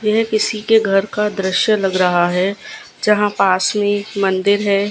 यह किसी के घर का दृश्य लग रहा है यहां पास में एक मंदिर है।